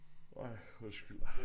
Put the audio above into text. Ej undskyld